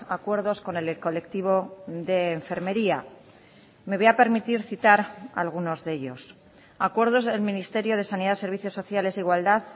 acuerdos con el colectivo de enfermería me voy a permitir citar algunos de ellos acuerdos del ministerio de sanidad servicios sociales e igualdad